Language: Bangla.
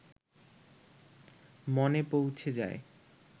মনে পৌঁছে যায়